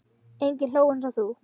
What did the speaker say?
Enginn hló eins og þú.